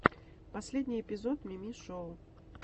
последний эпизод мими шоу